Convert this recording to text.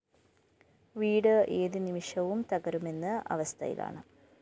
വീട് ഏത്‌നിമിഷവും തകരുമെന്ന അവസ്ഥയിലാണ്